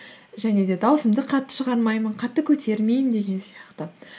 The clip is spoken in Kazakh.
және де даусымды қатты шығармаймын қатты көтермеймін деген сияқты